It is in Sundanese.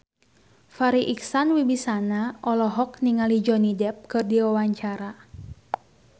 Farri Icksan Wibisana olohok ningali Johnny Depp keur diwawancara